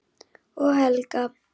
Og Helga.